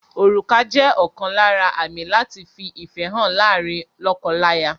Orùkà jẹ́ ọ̀kan lára àmì láti fi ìfẹ́ hàn láàárín lọ́kọ-láya.